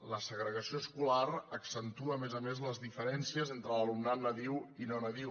la segregació escolar accentua a més a més les diferències entre l’alumnat nadiu i no nadiu